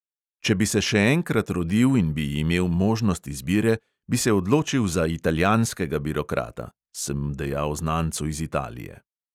"Če bi se še enkrat rodil in bi imel možnost izbire, bi se odločil za italijanskega birokrata," sem dejal znancu iz italije.